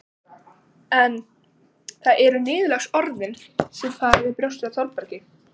En það eru niðurlagsorðin sem fara fyrir brjóstið á Þórbergi